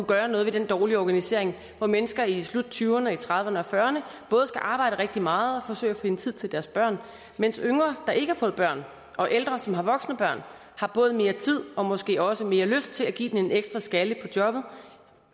gøre noget ved den dårlige organisering hvor mennesker i slut tyverne og i trediverne og fyrrerne både skal arbejde rigtig meget og forsøge at finde tid til deres børn mens yngre der ikke har fået børn og ældre som har voksne børn har både mere tid og måske også mere lyst til at give den en ekstra skalle på jobbet